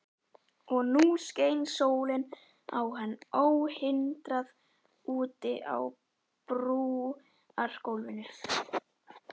Og nú skein sólin á hann óhindrað úti á brúargólfinu.